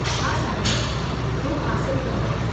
हा, साहिबु, हू हासिलु कंदो।